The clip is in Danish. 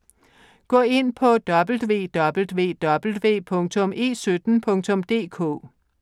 Gå ind på www.e17.dk